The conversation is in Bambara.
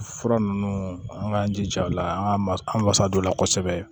Fura ninnu an k'an jija o la an ka ma an wasa don o la kosɛbɛ